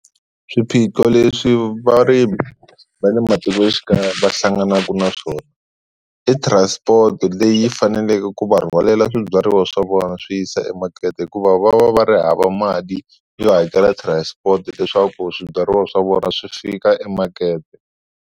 Swiphiqo leswi varimi va le matikoxikaya va hlanganaka na swona i transport leyi faneleke ku va rhwalela swibyariwa swa vona yi swi yisa emakete, hikuva va va va ri hava mali yo hakela transport leswaku swibyariwa swa vona swi fika emakete.